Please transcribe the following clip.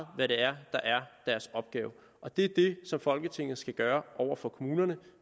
hvad det er der er deres opgave og det som folketinget skal gøre over for kommunerne